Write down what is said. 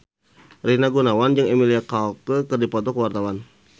Rina Gunawan jeung Emilia Clarke keur dipoto ku wartawan